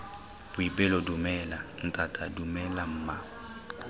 boipelo dumela ntata dumela mma